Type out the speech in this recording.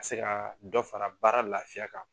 Ka se ka dɔ fara baara lafiya kan.